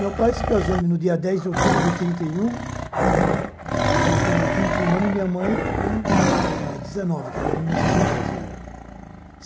Meu pai se casou no dia dez de outubro de trinta e um, eh com é vinte e um anos, e minha mãe é com dezenove, que era de mil novecentos e doze ela.